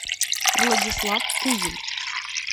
владислав кузин